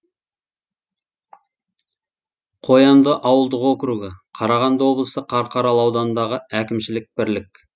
қоянды ауылдық округі қарағанды облысы қарқаралы ауданындағы әкімшілік бірлік